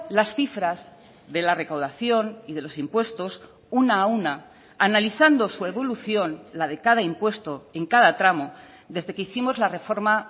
las cifras de la recaudación y de los impuestos una a una analizando su evolución la de cada impuesto en cada tramo desde que hicimos la reforma